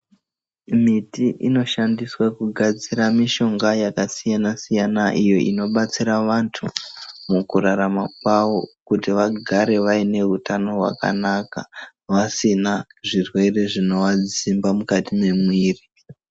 Miti inoshandiswa kugadzira mishonga yakasiyana-siyana iyo inobatsira vantu mukurarama kwavo kuti vagare vaine utano hwakanaka, vasina zvirwere zvinovadzimba mukati mwemwiri.